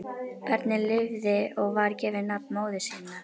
Barnið lifði og var gefið nafn móður sinnar.